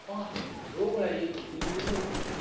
அப்பா room ல AC சில்லுனு இருக்கு